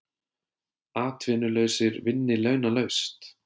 Atvinnulausir vinni launalaust